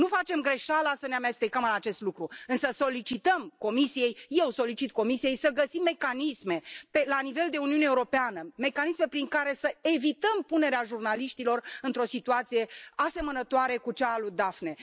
Nu facem greșeala să ne amestecăm în acest lucru, însă solicităm Comisiei, eu solicit Comisiei să găsim mecanisme la nivel de Uniune Europeană, mecanisme prin care să evităm punerea jurnaliștilor într o situație asemănătoare cu cea a Daphnei.